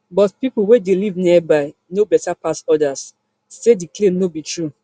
but pipo wey dey live nearby know beta pass odas say di claim no be true